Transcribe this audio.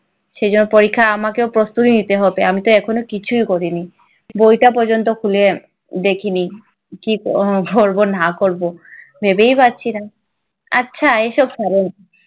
সেই জন্য পরীক্ষায় আমাকেও প্রস্তুতি নিতে হবে, আমিতো এখনো কিছুই করিনি। বইটা পর্যন্ত খুলে দেখিনি। কি করবো না করবো ভেবেই পাচ্ছি না। আচ্ছা এই সব ছাড়ুন।